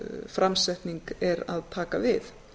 tölvuframsetning er að taka við